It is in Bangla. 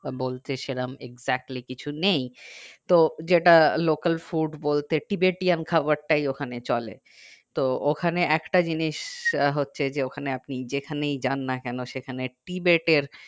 বলতে সেরকম exactly কিছু নেই তো যেটা local food বলতে ki betiyan খাবার তাই ওখানে চলে তো ওখানে একটা জিনিস হচ্ছে যে ওখানে আপনি যেখানেই যান না কেন কি বেত এর